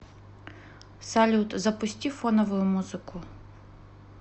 салют запусти фоновую музыку